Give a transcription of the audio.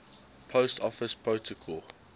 post office protocol